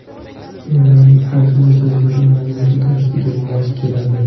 Doiraning hajmi zilzila magnitudasiga mos keladi.